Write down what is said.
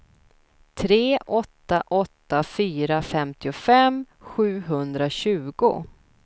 tre åtta åtta fyra femtiofem sjuhundratjugo